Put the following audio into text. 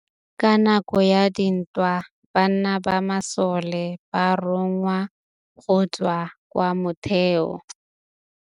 Ka nakô ya dintwa banna ba masole ba rongwa go tswa kwa mothêô.